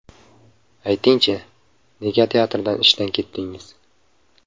Ayting-chi, nega teatrdan ishdan ketdingiz?